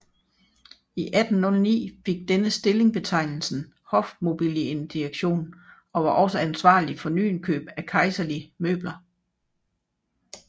I 1809 fik denne stilling betegnelsen Hofmobiliendirektion og var også ansvarlig for nyindkøb af kejserlige møbler